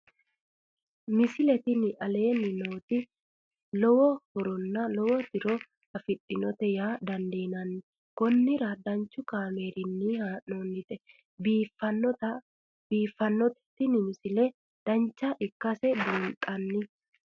misile tini aleenni nooti lowo horonna lowo tiro afidhinote yaa dandiinanni konnira danchu kaameerinni haa'noonnite biiffannote tini misile dancha ikkase buunxanni